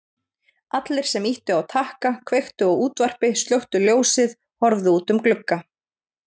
Allir sem ýttu á takka kveiktu á útvarpi slökktu ljósið horfðu út um glugga.